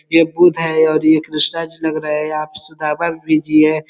यह बुध है औरी ये कृष्णा जी नग रहा है। यहाँ पे सुदामा भी बीजी है।